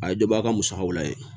A ye dɔ bɔ a ka musakaw la yen